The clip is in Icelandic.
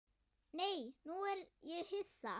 Nei, nú er ég hissa!